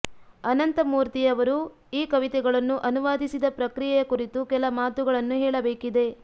ಅನಂತಮೂರ್ತಿಯವರು ಈ ಕವಿತೆಗಳನ್ನು ಅನುವಾದಿಸಿದ ಪ್ರಕ್ರಿಯೆಯ ಕುರಿತು ಕೆಲ ಮಾತುಗಳನ್ನು ಹೇಳಬೇಕಿದೆ